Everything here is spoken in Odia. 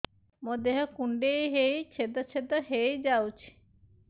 ମୋ ଦେହ କୁଣ୍ଡେଇ ହେଇ ଛେଦ ଛେଦ ହେଇ ଯାଉଛି